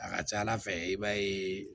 A ka ca ala fɛ i b'a ye